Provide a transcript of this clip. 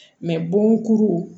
bon kuru